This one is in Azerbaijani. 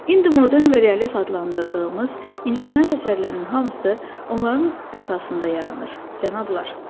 İndi modern və realist adlandırdığımız incəsənət əsərlərinin hamısı onların əsasında yaranır, cənablar.